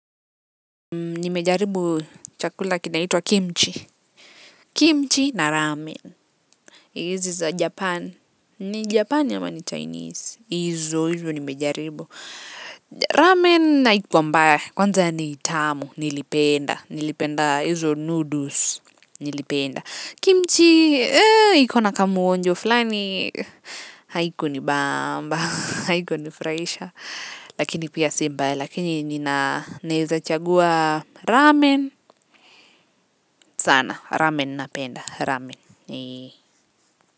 Nimejaribu chakula kinaitwa kimji. Kimji na rami hizi za Japani. Ni Japan ama ni Chinese hizo hizo nimejaribu ramen haikua mbaya kwanza ni tamu. Nilipenda nilipenda hizo noodles, nilipenda. Kimchi iko na kamuonjo fulani haikuni bamba, Haikunifurahisha. Lakini pia si mbaya lakini nina naezachagua ramen sana, ramen na penda, ramen, nii.